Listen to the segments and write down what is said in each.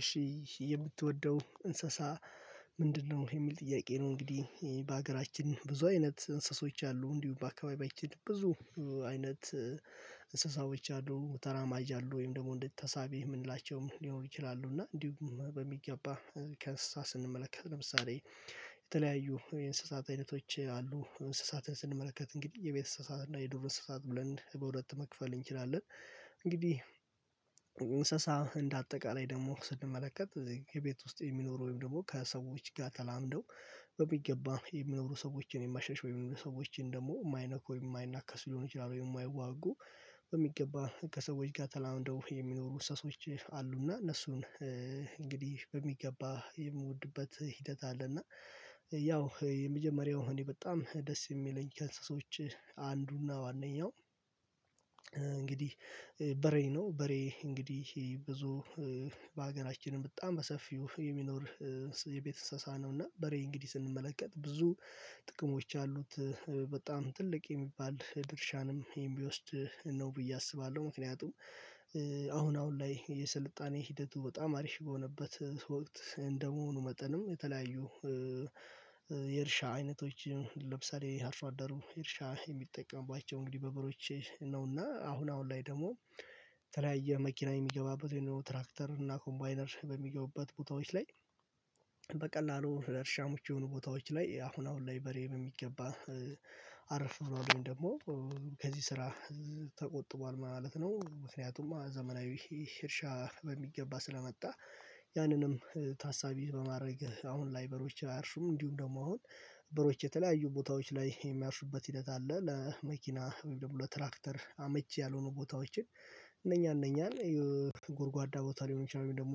እሺ የምትወደው እንስሳ ምንድነው የሚል ጥያቄ ነው? እንግዲህ በሀገራችን ብዙ አይነት እንስሳዎች አሉ እንዲሁ በአካባቢያችን ብዙ አይነት እንስሳዎች አሉ። ተራማጅ አሉ ወይም ደግሞ እንዴት ተሳቢ የምንላቸውም ሊሆን ይችላሉ። እና እንዲሁም በሚገባ ከእንስሳ ስንመለከት ለምሳሌ የተለያዩ የእንስሳት አይነቶች አሉ እንስሳትን ስንመለከት እንግዲህ የቤት እንስሳት እና የዱር ስሳት ብለን በሁለት መክፈል እንችላለን። እንግዲህ እንስሳ እንደ አጠቃላይ ደግሞ ስንመለከት ከቤት ውስጥ የሚኖሩ ወይም ደግሞ ከሰዎች ጋር ተላምደው በሚገባ የሚኖሩ ሰዎችን የማሸሽ ወይም የሚኖሩ ሰዎችን ደግሞ የማይነኩ ወይም የማይናከስ ሊሆን ይችላል ወይም የማይዋጉ በሚገባ ከሰዎች ጋር ተላምደው የሚኖሩ እንስሶች አሉና እነሱን እንግዲህ በሚገባ የምወድበት ሂደት አለ። እና ያው የመጀመሪያው እኔ በጣም ደስ የሚለኝ ከእንስሶች አንዱና ዋነኛው እንግዲህ በሬ ነው። በሬ እንግዲህ ብዙ በሀገራችንም በጣም በሰፊው የሚኖር የቤት እንሰሳ ነው። እና በሬ እንግዲህ ስንመለከት ብዙ ጥቅሞች አሉት በጣም ትልቅ የሚባል ድርሻንም የሚወስድ ነው ብዬ አስባለሁ። ምክንያቱም አሁን አሁን ላይ የስልጣኔ ሂደቱ በጣም አሪፍ በሆነበት ወቅት እንደመሆኑ መጠንም የተለያዩ የእርሻ አይነቶች ለምሳሌ አርሶ አደሩ የእርሻ የሚጠቀምባቸው እንግዲህ በበሬዎች ነውና። አሁን አሁን ላይ ደግሞ ተለያየ መኪና የሚገባበት ወይንም ትራክተር እና ኮምባይነር በሚገቡበት ቦታዎች ላይ በቀላሉ ለእርሻም የሆኑ ቦታዎች ላይ አሁን አሁን ላይ በሬ ነው በሚገባ አረፍ ነው። ወይም ደግሞ ከዚህ ስራ ተቆጥቧል ማለት ነው። ምክንያቱም ዘመናዊ እርሻ በሚገባ ስለመጣ ያንንም ታሳቢ በማድረግ አሁን ላይ በሬዎች አያርሱም። እንዲሁ ደግሞ አሁን በሬዎቾ የተለያዩ ቦታዎች ላይ የሚያርሱበት ሂደት አለ። ለመኪና ወይም ደግሞ ለትራክተር አመች ያልሆኑ ቦታዎችን እነኛ እነኛን የጎርጓዳ ቦታ ሊሆን ይችላል ወይም ደግሞ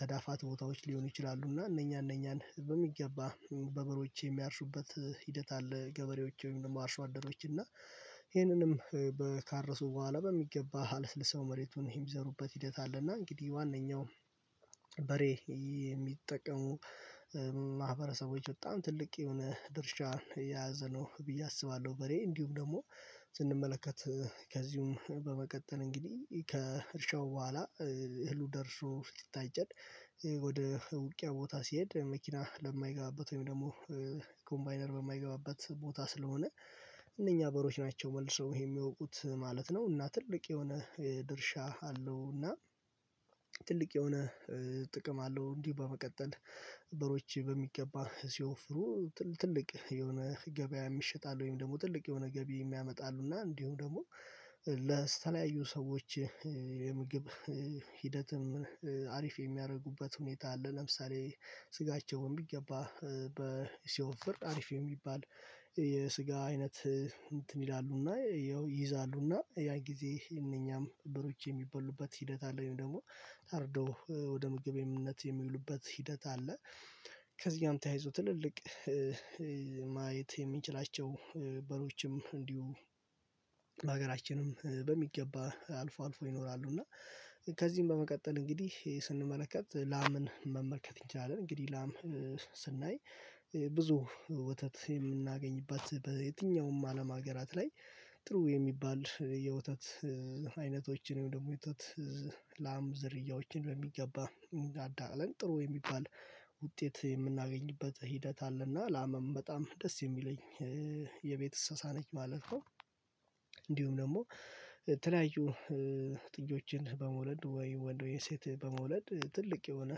ተዳፋት ቦታዎች ሊሆኑ ይችላሉ እና እነኛ እነኛን በሚገባ በበሬዎች የሚያርሱበት ሂደት አለ። ገበሬዎች ወይም ደግሞ አርሶ አደሮች እና ይህንንም በካርሱ በኋላ በሚገባ አለስልሰው መሬቱን ይዘሩበት ሂደት አለ። እና እንግዲህ ዋናው በሬ የሚጠቀሙ ማህበረሰቦች በጣም ትልቅ የሆነ ድርሻን የያዘ ነው ብዬ አስባለሁ። በሬ እንዲሁም ደግሞ ስንመለከት ከዚሁም በመቀጠል እንግዲህ ከእርሻው በኋላ እህሉ ደርሶ ስታጨድ ወደ ውቅያ ቦታ ሲሄድ መኪና ለማይገባበት ወይም ደግሞ ኮምባይነር በማይገባበት ቦታ ስለሆነ እነኛ በሮች ናቸው። መልሰው ይሄ የሚያውቁት ማለት ነው እና ትልቅ የሆነ ድርሻ አለው። እና ትልቅ የሆነ ጥቅም አለው። እንዲህ በመቀጠል በሮች በሚገባ ሲወፍሩ ትልቅ የሆነ ገበያ የሚሸጣል ወይም ደግሞ ትልቅ የሆነ ገቢ የሚያመጣሉና እንዲሁም ደግሞ ለስተላዩ ሰዎች የምግብ ሂደትም አሪፍ የሚያደርጉበት ሁኔታ አለ። ለምሳሌ ስጋቸውን ቢገባ በሲኦፍ ፍርድ አሪፍ የሚባል የስጋ አይነት እንትን ይላሉና ይይዛሉና ያ ጊዜ እነኛም በሮች የሚበሉበት ሂደት አለ። ወይም ደግሞ ታርዶ ወደ ምግብ እምነት የሚበሉበት ሂደት አለ። ከዚህም ተያይዞ ትልልቅ ማየት የሚችላቸው በሮችም እንዲሁ በሀገራችንም በሚገባ አልፎ አልፎ ይኖራሉ። እና ከዚህም በመቀጠል እንግዲህ ስንመለከት ላምን መመልከት እንችላለን። እንግዲህ ላም ስናይ ብዙ ወተት የምናገኝባት በየትኛውም አለም ሀገራት ላይ ጥሩ የሚባል የውተት አይነቶችን ደግሞ የጡት ላም ዝርያዎችን በሚገባ እንጋዳለን ጥሩ የሚባል ውጤት የምናገኝበት ሂደት አለና ላመም በጣም ደስ የሚለኝ የቤት እንስሳ ነች ማለት ነው። እንዲሁም ደግሞ ተለያዩ ጥጆችን በመውለድ ወይ ወንዶዬን ሴት በመውለድ ትልቅ የሆነ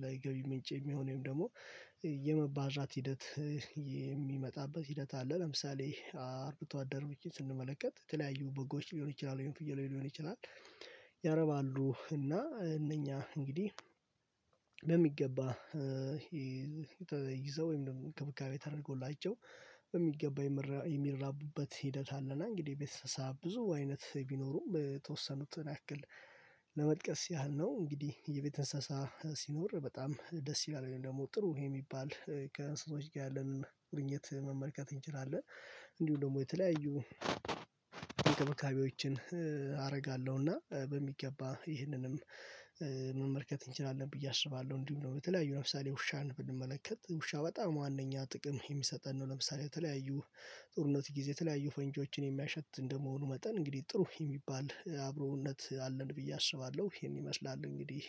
ለ ገቢ ምንጭ የሚሆነው ደግሞ የመባዣት ሂደት የሚመጣበት ሂደት አለ። ለምሳሌ አርብቶ አደር ብቻ ስንመለከት የተለያዩ በጎች ሊሆን ይችላል ወይም ፍየል ሊሆን ይችላል። እና እነኛ እንግዲህ በሚገባ ይዘው ወይም ደግሞ ክብካቤ ተደርጎላቸው በሚገባ የሚራቡበት ሂደት አለና። እንግዲህ ቤተሰብ ብዙ አይነት ቢኖሩም በተወሰኑት ያክል ለመጥቀስ ያህል ነው። እንግዲህ የቤት እንስሳ ሲኖር በጣም ደስ ይላል ወይም ደግሞ ጥሩ ይሄ የሚባል ከእንስሳዎች ጋር ያለን ቁርኝት መመልከት እንችላለን። እንዲሁ ደግሞ የተለያዩ እንክብካቤዎችን አደርጋለሁና በሚገባ ይህንንም መመልከት እንችላለን ብዬ አስባለሁ። እንዲሁ ነው በተለያዩ ለምሳሌ ውሻን ብንመለከት ውሻ በጣም ዋናኛ ጥቅም የሚሰጠን ነው። ለምሳሌ የተለያዩ ጦርነት ጊዜ የተለያዩ ፈንጆችን የሚያሸት እንደመሆኑ መጠን እንግዲህ ጥሩ የሚባል አብሮነት አለን ብዬ አስባለሁ። ይሄን ይመስላል እንግዲህ